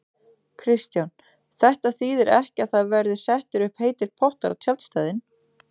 Kristján: Þetta þýðir ekki að það verði settir upp heitir pottar á tjaldstæðin?